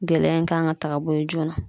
Gɛlɛya in kan ka ta ka bɔ ye joona.